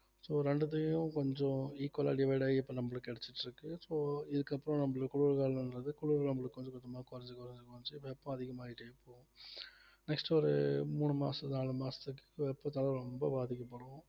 so ரெண்டுத்தையும் கொஞ்சம் equal ஆ divide ஆகி இப்ப நம்மளுக்கு கிடைச்சிட்டு இருக்கு so இதுக்கு அப்புறம் நம்மளுக்கு குளிர்காலம்ன்றது குளிர் நம்மளுக்கு கொஞ்சம் கொஞ்சமா குறைஞ்சு குறைஞ்சு குறைஞ்சு வெப்பம் அதிகமாயிட்டே போகும் next ஒரு மூணு மாசம் நாலு மாசத்துக்கு வெப்பத்தால ரொம்ப பாதிக்கப்படும்